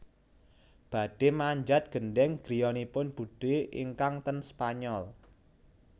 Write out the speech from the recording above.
Badhe manjat gendheng griyanipun budhe ingkang ten Spanyol